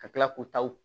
Ka tila k'u taw